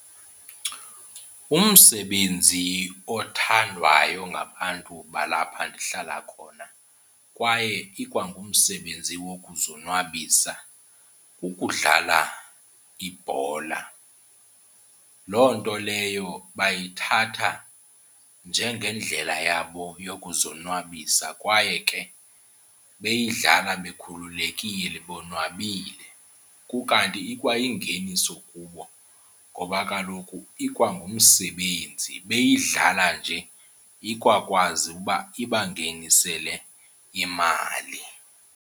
Umsebenzi othandwayo ngabantu balapha ndihlala khona kwaye ikwangumsebenzi wokuzonwabisa kukudlala ibhola. Loo nto leyo bayithatha njengendlela yabo yokuzonwabisa kwaye ke beyidlala bekhululekile bonwabile. Kukanti ikwayingeniso kubo ngoba kaloku ikwangumsebenzi, beyidlala nje ikwakwazi uba ibangenisele imali.